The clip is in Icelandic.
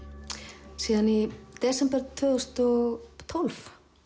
síðan í desember tvö þúsund og tólf